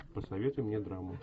посоветуй мне драму